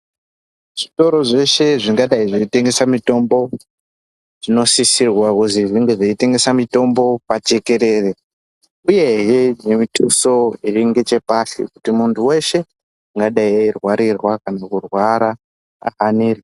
Zvitoro zveshe zvingadayi zveitengesa mitomo zvinosisirwa kuzi zvinge zveitengese mitombo pajekerere uyehe nemithuso iringechepashi kuti muntu weshe ungadayi kurwarirwa kana kurwara ane.